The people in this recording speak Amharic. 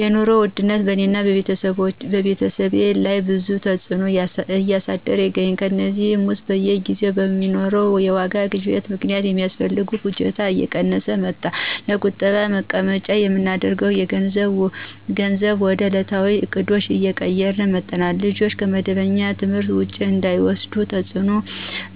የኑሮ ውድነት በእኔና በቤተሰቤ ላይ ብዙ ተዕጽኖ እያሳደረ ይገኛል። ከእነዚህም ውስጥ በየጊዜው በሚኖረው የዋጋ ግሽበት ምክንያት ሚያስፈልገንን ፍጆታ እየቀነስን መጠናል፣ ለቁጠባ ተቀማጭ ምናደርገውን ገንዘብ ወደ እለታዊ እቅዶች እየቀየርን መጠናል፣ ልጆችን ከመደበኛ ትምህርት ውጪ እንዳይወስዱ ተጽዕኖ